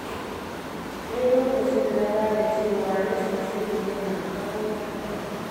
Sai lokacin na gane cewa rashin shiri yana kawo matsala.